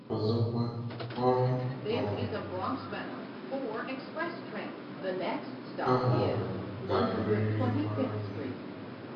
Ọzọkwa, ọrụ um a họọrọ ga-abụrịrị ọrụ gị.